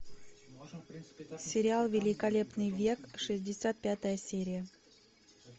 сериал великолепный век шестьдесят пятая серия